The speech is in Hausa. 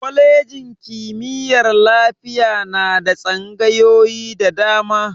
Kwalejin kimiyyar lafiya na da tsangayoyi da dama.